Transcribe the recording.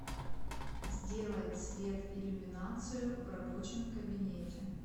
сделай цвет иллюминацию в рабочем кабинете